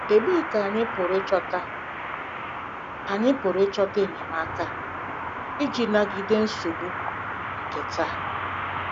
Ebee Ka Anyị Pụrụ Ịchọta Anyị Pụrụ Ịchọta Enyemaka Iji Nagide Nsogbu nke Taa?